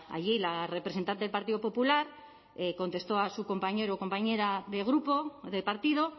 allí la representante del partido popular contestó a su compañero o compañera de grupo de partido